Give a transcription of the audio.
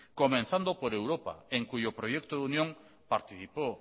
comenzando por europa en cuyo proyecto de unión participó